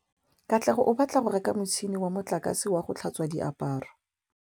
Katlego o batla go reka motšhine wa motlakase wa go tlhatswa diaparo.